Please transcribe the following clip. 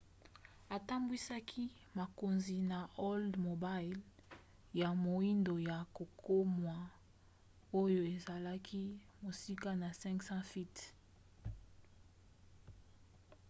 atambwisaki bakonzi na oldsmobile ya moindo ya kokamwa oyo ezalaki mosika na 500 feet